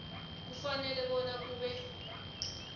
kufanele bona kube